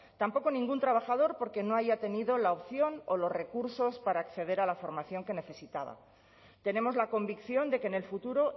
tampoco ningún trabajador porque no haya tenido la opción o los recursos para acceder a la formación que necesitaba tenemos la convicción de que en el futuro